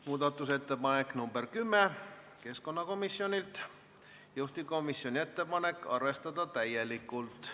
Muudatusettepanek nr 10 on keskkonnakomisjonilt, juhtivkomisjoni ettepanek on arvestada täielikult.